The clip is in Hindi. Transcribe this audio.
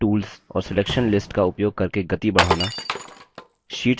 fill tools और selection lists का उपयोग करके गति बढ़ाना